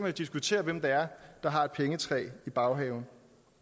jo diskutere hvem det er der har et pengetræ i baghaven